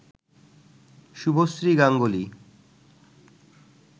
Subhashree Ganguly